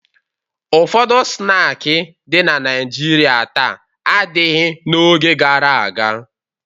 Ụfọdụ snaakị dị na Naịjirịa taa adịghị n'oge gara aga.